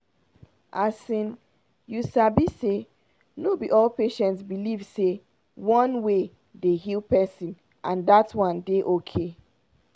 asin you sabi say no be all patients believe say na one way dey heal person and dat one dey ok.